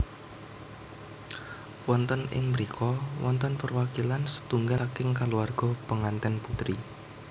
Wonten ing mrika wonten perwakilan setunggal saking kaluwarga pengantèn putri